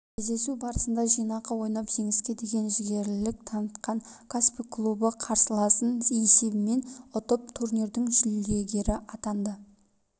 кездесу барысында жинақы ойнап жеңіске деген жігерлілік танытқан каспий клубы қарсыласын есебімен ұтып турнирдің жүлдегері атанды